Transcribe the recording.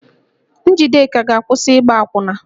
Njideka ga-akwụsị ịgba akwụna